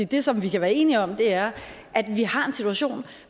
det som vi kan være enige om er at vi har en situation